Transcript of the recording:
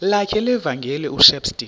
lakhe levangeli ushepstone